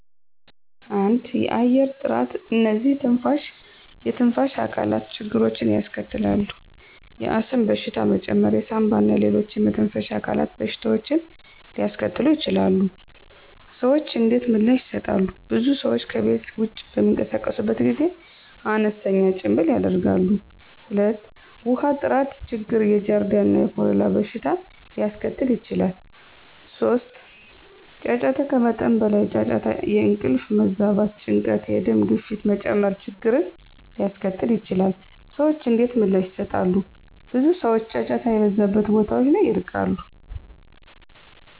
1. የአየር ጥራት *እነዚህ የትንፋሽ አካላት ችግሮችን ያስከትላል፣ የአስም በሽታ መጨመር የሳንባ እና ሌሎች የመተንፈሻ አካላት በሽታዎችን ሊያስከትሉ ይችላሉ። **ሰዎች እንዴት ምላሽ ይሰጣሉ? *ብዙ ሰዎች ከቤት ውጭ በሚንቀሳቀሱበት ጊዜ አነስተኛ ጭምብል ያደርጋሉ። 2. ውሃ ጥራት ችግር የጃርዲያ እና የኮሌራ በሽታ ሊያስከትል ይችላል። 3. ጫጫታ ከመጠን በላይ ጫጫታ የእንቅልፍ መዛባት፣ ጭንቀት፣ የደም ግፊት መጨመር ችግርን ሊያስከትል ይችላል። *ሰዎች እንዴት ምላሽ ይሰጣሉ? ብዙ ሰዎች ጫጫታ የበዛባቸውን ቦታዎች ይርቃሉ።